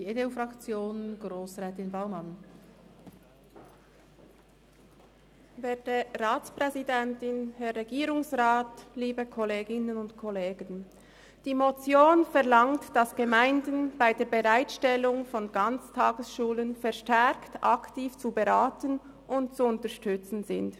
Die Motion verlangt, dass Gemeinden bei der Bereitstellung von Ganztagesschulen verstärkt aktiv zu beraten und zu unterstützen sind.